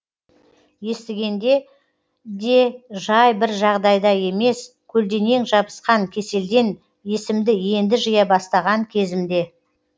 естігенде де жай бір жағдайда емес көлденең жабысқан кеселден есімді енді жия бастаған кезімде